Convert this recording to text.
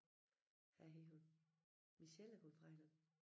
Hvad hed hun Michelle er gået fra hinanden